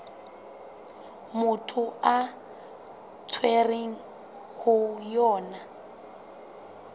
motho a tshwerweng ho yona